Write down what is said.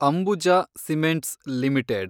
Ambuja cements limited